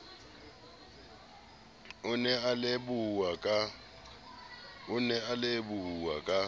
o ne a lebohuwa ka